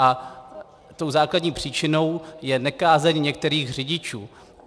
A tou základní příčinou je nekázeň některých řidičů.